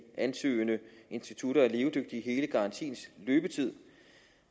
ansøgende institutter er levedygtige i hele garantiens løbetid